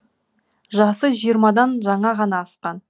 жасы жиырмадан жаңа ғана асқан